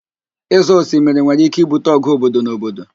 Ịzọ osimiri nwere ike ibute ọgụ obodo na obodo